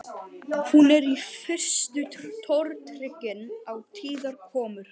Hún er í fyrstu tortryggin á tíðar komur